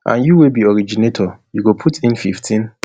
and you wey be di originator you go put in fifteen